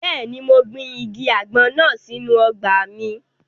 Bẹ́ẹ̀ni, mo gbin igi àgbọn náà sínu ọgbà mi